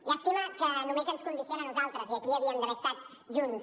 llàstima que només ens condiciona a nosaltres i aquí havíem d’haver estat junts